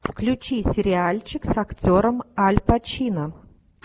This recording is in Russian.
включи сериальчик с актером аль пачино